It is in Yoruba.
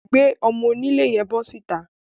Gbé ọmọ-onílé yẹn bọ́ síta